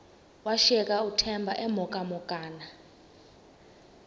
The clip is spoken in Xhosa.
washiyeka uthemba emhokamhokana